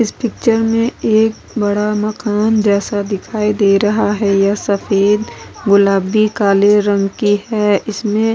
इस पिक्चर में एक बड़ा मकान जैसा दिखाई दे रहा है यह सफ़ेद गुलाबी काले रंग के है इसमे --